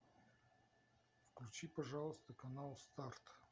включи пожалуйста канал старт